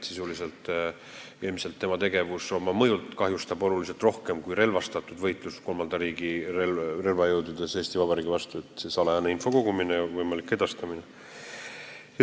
Sisuliselt kahjustab tema tegevus, salajane info kogumine ja võimalik edastamine, meid ilmselt oluliselt rohkem kui Eesti Vabariigi vastane relvastatud võitlus kolmanda riigi relvajõududes.